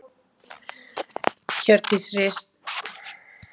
Hjördís Rut Sigurjónsdóttir: Já?